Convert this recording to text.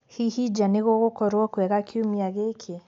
hĩhĩ nja nigugukorwo kwega kĩumĩa giki